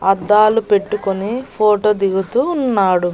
అద్దాలు పెట్టుకొని ఫోటో దిగుతూ ఉన్నాడు.